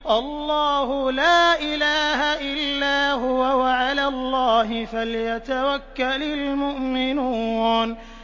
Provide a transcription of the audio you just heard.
اللَّهُ لَا إِلَٰهَ إِلَّا هُوَ ۚ وَعَلَى اللَّهِ فَلْيَتَوَكَّلِ الْمُؤْمِنُونَ